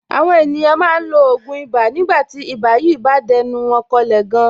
Àwọn ènìyàn máa ń lo ògùn ibà nígbà tí ibà yìí bá dẹnu wọn kọlẹ̀ gan.